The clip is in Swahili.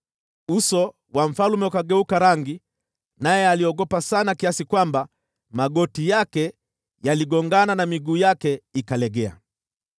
Uso wa mfalme ukageuka rangi, naye akaogopa sana, kiasi kwamba magoti yake yaligongana na miguu yake ikalegea.